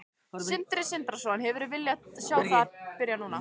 Sindri Sindrason: Hefðirðu viljað sjá það byrja núna?